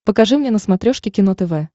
покажи мне на смотрешке кино тв